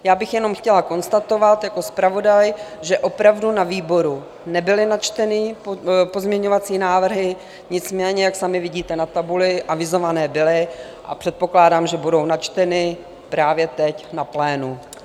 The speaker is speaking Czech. Já bych jenom chtěla konstatovat jako zpravodaj, že opravdu na výboru nebyly načteny pozměňovací návrhy, nicméně jak sami vidíte na tabuli, avizované byly a předpokládám, že budou načteny právě teď na plénu.